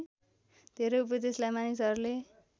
धेरै उपदेशलाई मानिसहरूले